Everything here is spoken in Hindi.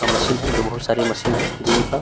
का मशीन है जो बहुत सारी मशीन है जिनका --